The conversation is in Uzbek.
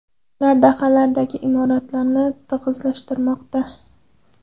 Ular dahalardagi imoratlarni tig‘izlashtirmoqda.